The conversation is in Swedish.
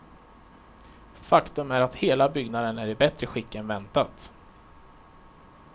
Faktum är att hela byggnaden är i bättre skick än väntat.